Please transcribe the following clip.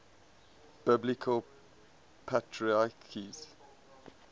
biblical patriarchs